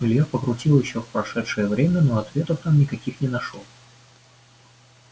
илья покрутил ещё в прошедшее время но ответов там никаких не нашёл